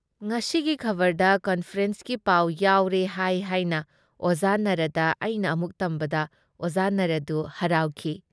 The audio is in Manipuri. ꯉꯁꯤꯒꯤ ꯈꯕꯔꯗ ꯀꯟꯐꯔꯦꯟꯁꯀꯤ ꯄꯥꯎ ꯌꯥꯎꯔꯦ ꯍꯥꯏ ꯍꯥꯏꯅ ꯑꯣꯖꯥ ꯅꯥꯔꯥꯗ ꯑꯩꯅ ꯑꯃꯨꯛ ꯇꯝꯕꯗ ꯑꯣꯖꯥ ꯅꯥꯔꯥꯗꯨ ꯍꯔꯥꯎꯈꯤ ꯫